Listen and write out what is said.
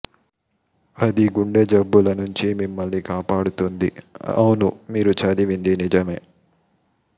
అది గుండె జబ్బుల నుంచి మిమ్మల్ని కాపాడుతుంది అవును మీరు చదివింది నిజమే